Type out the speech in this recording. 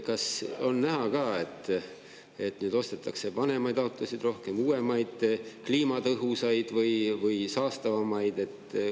Kas on näha, kas ostetakse vanemaid autosid rohkem või uuemaid, kliimatõhusaid või saastavamaid?